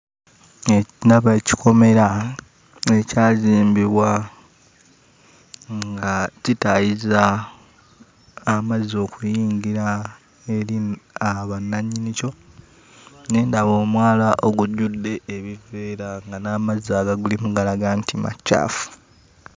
Ndaba ekikomera ekyazimbibwa nga kitaayiza amazzi okuyingira eri bannannyinikyo, ne ndaba omwala ogujjudde ebiveera nga n'amazzi agagulimu galaga nga macaafu!